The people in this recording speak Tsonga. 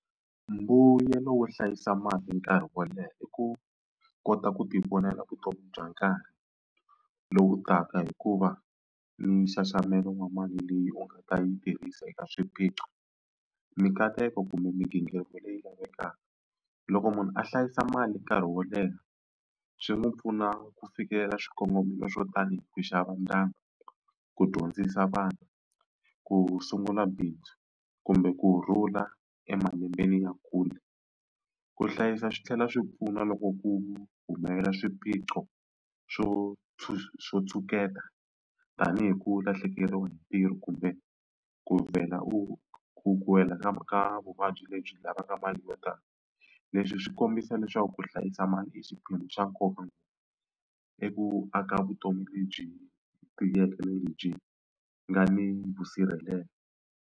Mbuyelo wo hlayisa mali nkarhi wo leha i ku kota ku tivonela vutomi bya nkarhi lowu taka hikuva nxaxamelo wa mali leyi u nga ta yi tirhisa eka swiphiqo mikateko kumbe migingiriko leyi lavekaka. Loko munhu a hlayisa mali nkarhi wo leha swi n'wi pfuna ku fikelela swikongomelo swo tanihi ku xava ndyangu, ku dyondzisa vana, ku sungula bindzu kumbe kurhula emalembeni ya kule. Ku hlayisa swi tlhela swi pfuna loko ku humelela swiphiqo swo swo tshuketa tanihi ku lahlekeriwa hi ntirho kumbe ku vhela u ku ku wela ka ka vuvabyi lebyi lavaka mali yo tala. Leswi swi kombisa leswaku ku hlayisa mali i xiphemu xa nkoka i ku aka vutomi lebyi tiyeke lebyi nga ni vusirhelelo.